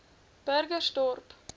burgersdorp